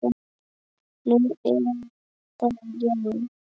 Nú, er það já.